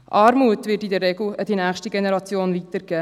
Armut wird in der Regel an die nächste Generation weitergegeben.